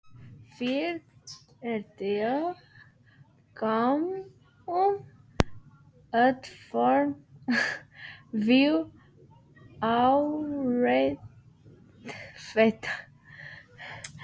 Þegar við komum út fórum við að ræða þetta.